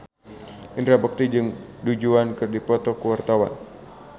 Indra Bekti jeung Du Juan keur dipoto ku wartawan